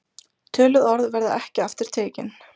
Töluð orð verða ekki aftur tekin.